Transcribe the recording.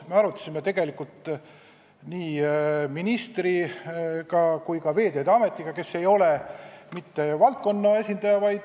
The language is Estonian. Me arutasime teemat nii ministriga kui ka Veeteede Ametiga, kes ei ole mitte valdkonna esindaja.